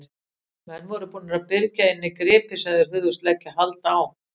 Menn voru búnir að byrgja inni gripi sem þeir hugðust leggja hald á.